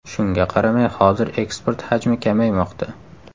Shunga qaramay, hozir eksport hajmi kamaymoqda.